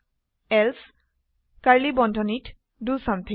elseকাৰ্লী বন্ধনীত the something